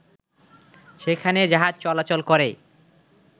সেখানে জাহাজ চলাচল করে